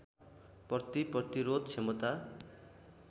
प्रति प्रतिरोध क्षमता